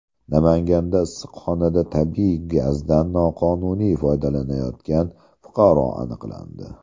Namanganda issiqxonada tabiiy gazdan noqonuniy foydalanayotgan fuqaro aniqlandi.